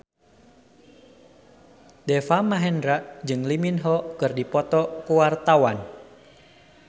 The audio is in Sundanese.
Deva Mahendra jeung Lee Min Ho keur dipoto ku wartawan